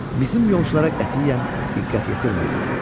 Bizim yolçulara qətiyyən diqqət yetirmirdilər.